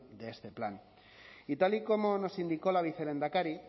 de este plan y tal y como nos indicó la vicelehendakari